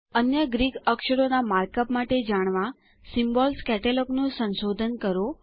અન્ય ગ્રીક અક્ષરો ના માર્કઅપ માટે જાણવા સિમ્બોલ્સ કેટલોગ નું સંશોધન કરો